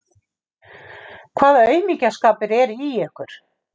Hvaða aumingjaskapur er í ykkur!